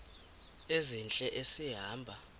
ezintle esi hamba